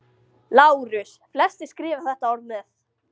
LÁRUS: Flestir skrifa þetta orð með.